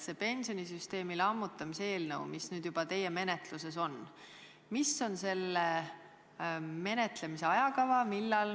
See pensionisüsteemi lammutamise eelnõu, mis juba teie menetluses on – milline on selle menetlemise ajakava?